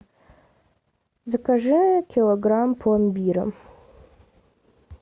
закажи килограмм пломбира